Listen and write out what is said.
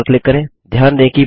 फिर ओक पर क्लिक करें